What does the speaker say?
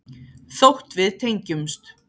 Þótt við tengjumst.